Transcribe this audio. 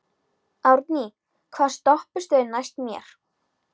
Árný, hvaða stoppistöð er næst mér?